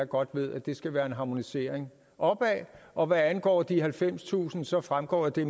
godt ved at det skal være en harmonisering opad og hvad angår de halvfemstusind så fremgår det